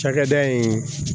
Cakɛda in